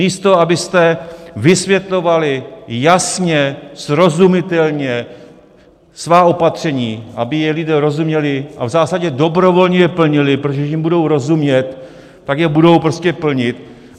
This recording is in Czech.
Místo abyste vysvětlovali jasně, srozumitelně svá opatření, aby jim lidé rozuměli a v zásadě dobrovolně je plnili, protože když jim budou rozumět, tak je budou prostě plnit.